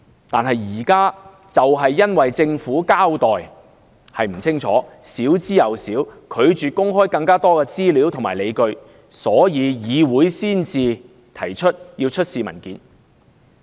但現在就是因為政府交代不足，拒絕公開更多資料和理據，議會才會要求出示文件。